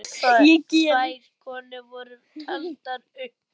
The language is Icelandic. Tvær konur voru taldar upp.